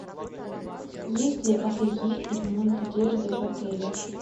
есть ли ателье и ремонт одежды в отеле